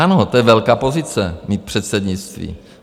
Ano, to je velká pozice, mít předsednictví.